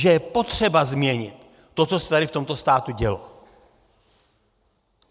Že je potřeba změnit to, co se tady v tomto státě dělo.